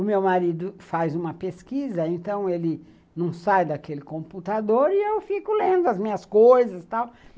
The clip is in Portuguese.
O meu marido faz uma pesquisa, então ele não sai daquele computador e eu fico lendo as minhas coisas e tal.